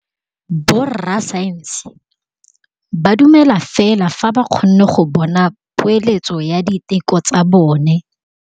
Borra saense ba dumela fela fa ba kgonne go bona poeletsô ya diteko tsa bone.